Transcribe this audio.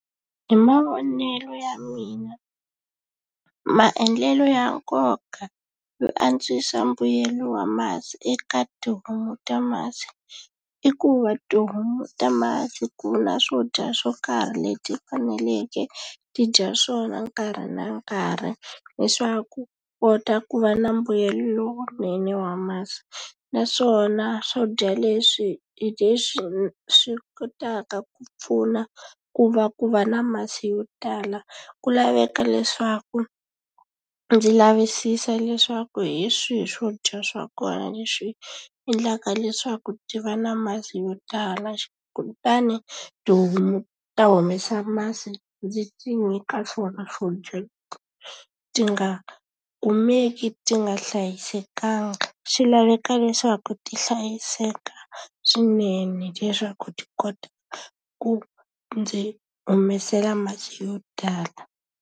Hi mavonelo ya mina maendlelo ya nkoka yo antswisa mbuyelo wa masi eka tihomu ta masi i ku va tihomu ta masi ku na swo dya swo karhi leti ti faneleke ti dya swona nkarhi na nkarhi leswaku kota ku va na mbuyelo lowunene wa masi naswona swo dya leswi hi leswi swi kotaka ku pfuna ku va ku va na masi yo tala ku laveka leswaku ndzi lavisisa leswaku hi swihi swodya swa kona leswi endlaka leswaku ti va na masi yo tala kutani tihomu ta humesa masi ndzi ti nyika swona swo dya ti nga kumeki ti nga hlayisekanga swi laveka leswaku ti hlayiseka swinene leswaku ti kota ku ndzi humesela masi yo tala.